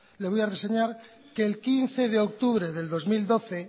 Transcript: le voy a reseñar que el quince de octubre de dos mil doce